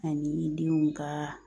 Ani denw ka